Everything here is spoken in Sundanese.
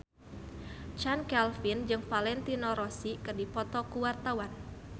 Chand Kelvin jeung Valentino Rossi keur dipoto ku wartawan